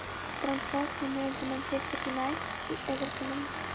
трансляция между манчестер юнайтед и эвертоном